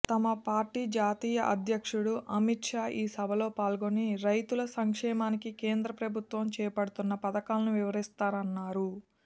తమ పార్టీ జాతీయ అధ్యక్షుడు అమిత్షా ఈ సభలో పాల్గొని రైతుల సంక్షేమానికి కేంద్ర ప్రభుత్వం చేపడుతున్న పథకాలను వివరిస్తారన్నారు